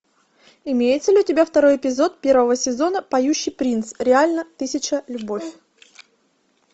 имеется ли у тебя второй эпизод первого сезона поющий принц реально тысяча любовь